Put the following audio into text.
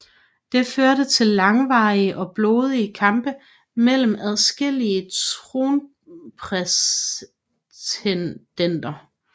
Det førte til langvarige og blodige kampe mellem adskillige tronprætendenter